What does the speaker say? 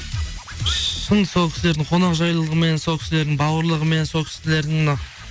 шын сол кісілердің қонақжайлылығымен сол кісілердің бауырлығымен сол кісілердің мына